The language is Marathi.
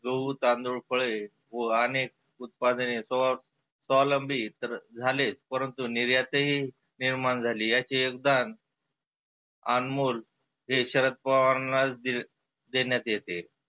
गहु, तांदुळ, फळे, व आनेक उत्पादने स्वावलंबी तर झाले परंतु निर्यातही निर्माण झाली. याचे योगदन आनमोल हे शरद पवारांनाच दिले देण्यात येते.